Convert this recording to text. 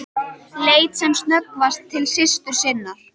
Leit sem snöggvast til systur sinnar.